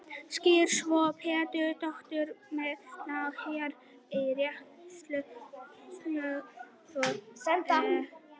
Skýrsla Sólveigar Pétursdóttur dómsmálaráðherra um réttarstöðu sambúðarfólks, samkvæmt beiðni.